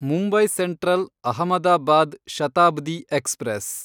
Mumbai Central Ahmedabad Shatabdi express